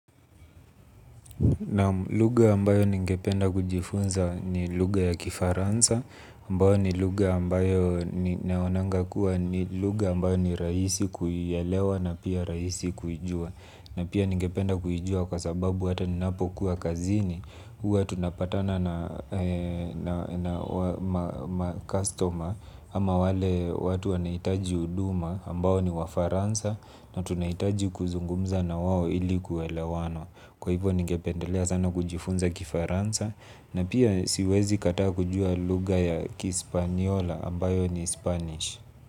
Naam lugha ambayo ningependa kujifunza ni lugha ya kifaransa, ambayo ni lugha ambayo naonanga kuwa ni lugha ambayo ni rahisi kuilewa na pia rahisi kuijua. Na pia ningependa kuijua kwa sababu hata ninapo kuwa kazini, huwa tunapatana na customer ama wale watu wanaitaji huduma ambayo ni wa faransa na tunaitaji kuzungumza na wao ili kuelewana. Kwa hivo ningependelea sana kujifunza kifaransa na pia siwezi kataa kujua lugha ya kispaniola ambayo ni spanish.